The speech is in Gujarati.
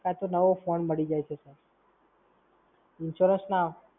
કાં તો નવો phone મળી જાય છે Sir